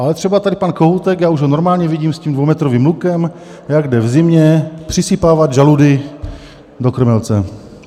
Ale třeba tady pan Kohoutek, já už ho normálně vidím s tím dvoumetrovým lukem, jak jde v zimě přisypávat žaludy do krmelce.